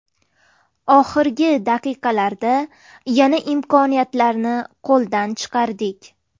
Oxirgi daqiqalarda yana imkoniyatlarni qo‘ldan chiqardik.